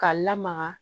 K'a lamaga